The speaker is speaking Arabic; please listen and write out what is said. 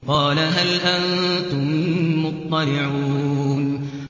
قَالَ هَلْ أَنتُم مُّطَّلِعُونَ